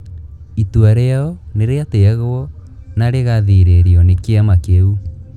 Itua rĩao nĩ rĩatĩĩagwo na rĩgathĩrĩrio nĩ kĩama kĩu